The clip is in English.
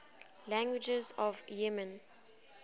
languages of yemen